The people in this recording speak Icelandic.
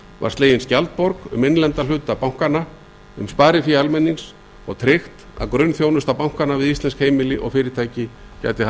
var slegin skjaldborg um innlenda hluta bankanna um sparifé almennings og tryggt að grunnþjónusta bankanna við íslensk heimili og fyrirtæki gæti